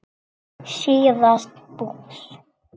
síðast bús.